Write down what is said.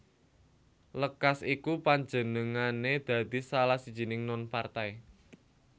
Lekas iku panjenengané dadi salah sijining non partai